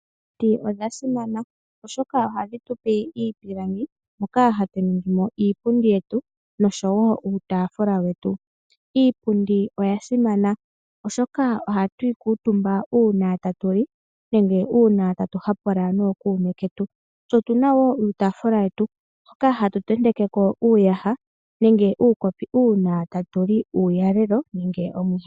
Omiti odha simana, oshoka ohadhi tupe iipilangi moka hatu ningimo iipundi yetu noshowo uutaafula wetu. Iipundi oya simana, oshoka ohatu yi kuutumba uuna ta tu li nenge uuna tatu hapula nookuume ketu ,tse otuna wo uutafula wetu hoka hatu tenteke ko uuyaha nenge uukopi uuna tatu li uulalelo nenge omwiha.